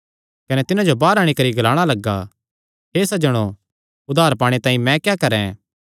कने तिन्हां जो बाहर अंणी करी ग्लाणा लग्गा हे सज्जनो उद्धार पाणे तांई मैं क्या करैं